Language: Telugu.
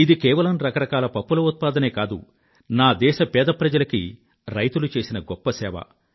ఇది కేవలం రకరకాల పప్పుల ఉత్పాదనే కాదు నా దేశ పేద ప్రజలకి రైతులు చేసిన గొప్ప సేవ